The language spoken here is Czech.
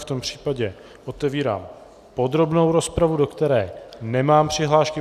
V tom případě otevírám podrobnou rozpravu, do které nemám přihlášky.